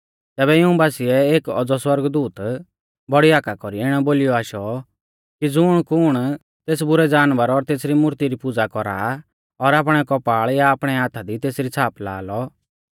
तैबै इऊं बासिऐ एक औज़ौ सौरगदूत बौड़ी हाका कौरी इणौ बोलीयौ आशौ कि ज़ुणकुण तेस बुरै जानवर और तेसरी मूर्ती री पुज़ा कौरा और आपणै कौपाल़ या आपणै हाथा दी तेसरी छ़ाप लाआ लौ